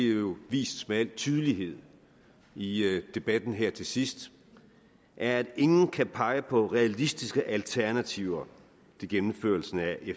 jo vist med al tydelighed i debatten her til sidst at ingen kan pege på realistiske alternativer til gennemførelsen af